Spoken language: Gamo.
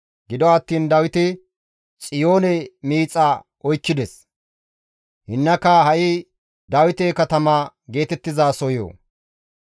Gido attiin Dawiti Xiyoone miixa oykkides; hinnaka ha7i Dawite katama geetettizasohoyo.